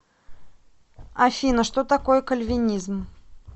афина что такое кальвинизм